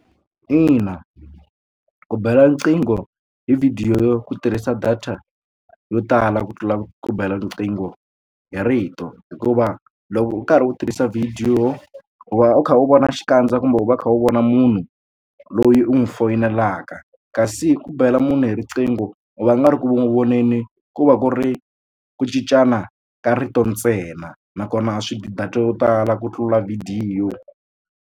Ina ku bela riqingho hi vhidiyo yo ku tirhisa data yo tala ku tlula ku bela riqingho hi rito hikuva loko u karhi u tirhisa vhidiyo u va u kha u vona xikandza kumbe u va u kha u vona munhu loyi u n'wi foyinela kasi ku bela munhu hi riqingho va nga ri ku n'wi voneni ku va ku ri ku cincana ka rito ntsena nakona swi dyi data yo tala ku tlula vhidiyo.